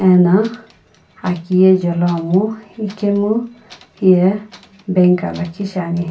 ena akiye jeloamo ikemu hiye bank aa lakhi shi ani.